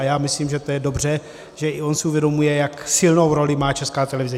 A já myslím, že to je dobře, že i on si uvědomuje, jak silnou roli má Česká televize.